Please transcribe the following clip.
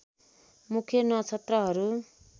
मुख्य नक्षत्रहरू